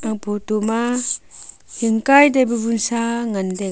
aga photo ma taipu wunsa ngan taiga.